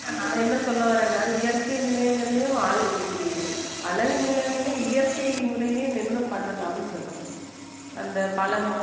நான் என்ன சொல்ல வர்றேன்னா இயற்கை நிலையங்களையும் அழகு நிலயங்களே இயற்கை முறையிலேயே நின்னு பண்ணலாம்னு சொல்றேன் அந்த பழங்~